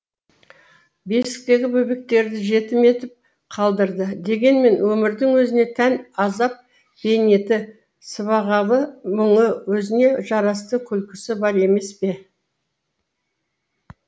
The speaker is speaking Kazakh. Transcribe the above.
бесіктегі бөбектерді жетім етіп қалдырды дегенмен өмірдің өзіне тән азап бейнеті сыбағалы мұңы өзіне жарасты күлкісі бар емес пе